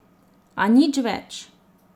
A nič več.